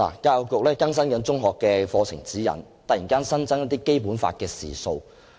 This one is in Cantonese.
教育局正更新《中學教育課程指引》，突然新增一些《基本法》的時數。